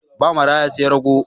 Ba maraya sai raggo.